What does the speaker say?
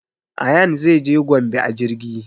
Ayaan zai je gombe a jirgi